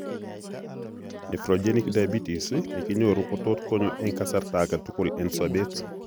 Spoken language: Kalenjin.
Nephrogenic diabetes nekinyoruu kotot konyo eng' kasartagetul eng' sobeet